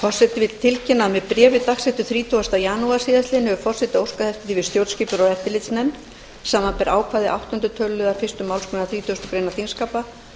forseti vill tilkynna að með bréfi dagsettu þrítugasta janúar síðastliðinn hefur forseti óskað eftir því við stjórnskipunar og eftirlitsnefnd samanber ákvæði áttunda töluliðar fyrstu málsgrein þrítugustu greinar þingskapa